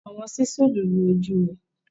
Awọn sísúlù lu oju rẹ